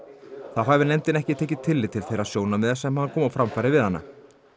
þá hafi nefndin ekki tekið tillit til þeirra sjónarmiða sem hann kom á framfæri við hana skrifleiðis